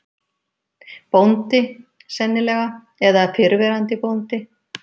Bóndi, sennilega, eða fyrrverandi bóndi.